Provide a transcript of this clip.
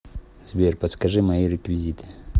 сбер подскажи мои реквизиты